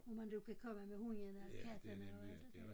Hvor man du kan komme med hundene kattene og alt det dér